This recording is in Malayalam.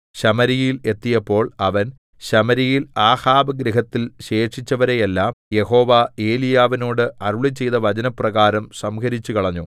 ശമര്യയിൽ എത്തിയപ്പോൾ അവൻ ശമര്യയിൽ ആഹാബ് ഗൃഹത്തിൽ ശേഷിച്ചവരെ എല്ലാം യഹോവ ഏലീയാവിനോട് അരുളിച്ചെയ്ത വചനപ്രകാരം സംഹരിച്ചുകളഞ്ഞു